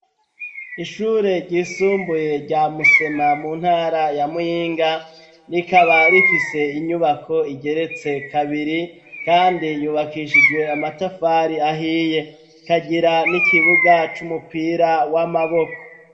Ishure ryisumbuye, rya Musema, mu ntara ya Muyinga, rikaba rifise inyubako igeretse kabiri, kandi yubakishijwe amatafari ahiye; kagira n'ikibuga, c'umupira w'amaboko.